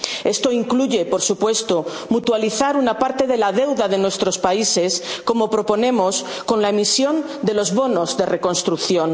Esto incluye, por supuesto, mutualizar una parte de la deuda de nuestros países, como proponemos con la emisión de los bonos de reconstrucción.